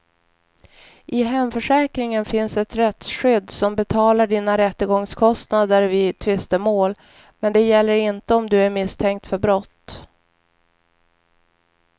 I hemförsäkringen finns ett rättsskydd som betalar dina rättegångskostnader vid tvistemål, men det gäller inte om du är misstänkt för brott.